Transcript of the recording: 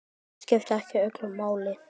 Það skipti ekki öllu máli.